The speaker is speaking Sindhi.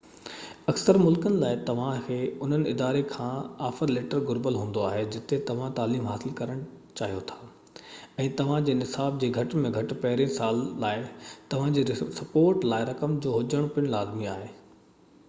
اڪثر ملڪن لاءِ توهان کي انهي اداري کان آفر ليٽر گهربل هوندو جتي توهان تعليم حاصل ڪرڻ چاهيو ٿا ۽ توهان جي نصاب جي گهٽ ۾ گهٽ پهريئن سال لاءِ توهانجي سپورٽ لاءِ رقم جو هجڻ پن لازمي آهي